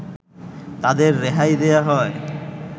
তাদের রেহাই দেয়া হয়